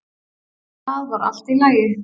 Það var allt í lagi.